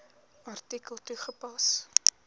artikel toegepas